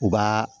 U b'a